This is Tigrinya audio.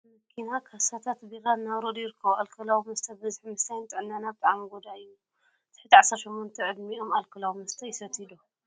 ካብ መኪና ካሳታት ቢራ እናውረዱ ይርከቡ ። ኣልከላዊ መስተ ብብዝሒ ምስታይ ንጥዕናና ብጣዕሚ ጎዳኢ እዩ ።ትሕቲ 18 ዕድሚኦም ኣልከላዊ መስተ ይስትዩ ዶ ?